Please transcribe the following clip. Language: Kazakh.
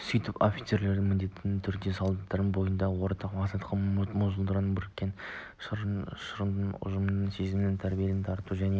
сөйтіп офицерлердің міндетті түрде солдаттың бойында ортақ мақсатқа жұмылдыратын бірлікке шақыратын ұжымшылдық сезімін тәрбиелеуге дарытуға және